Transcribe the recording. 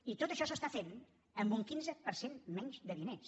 i tot això s’està fent amb un quinze per cent menys de diners